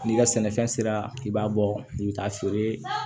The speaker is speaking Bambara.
N'i ka sɛnɛfɛn sera k'i b'a bɔ i bɛ taa feere